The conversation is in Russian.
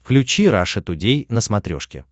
включи раша тудей на смотрешке